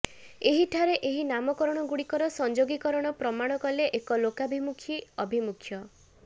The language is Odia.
ଏହିଠାରେ ଏହି ନାମକରଣଗୁଡ଼ିକର ସଂଯୋଗୀକରଣ ପ୍ରମାଣ କରେ ଏକ ଲୋକାଭିମୁଖୀ ଆଭିମୁଖ୍ୟ